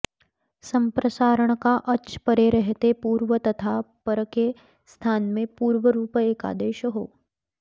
सम्प्रसारण का अच् परे रहते पूर्व तथा पर के स्थान में पूर्वरूप एकादेश हो